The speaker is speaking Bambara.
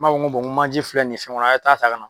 N b'a fɔ ko n ko manje filɛ nin ye fɛn kɔnɔ a ye taa ta ka na.